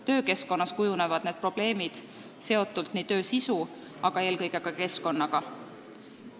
Töökeskkonnas kujunevad need probleemid seotult ka töö sisuga, aga eelkõige just seotult keskkonnaga.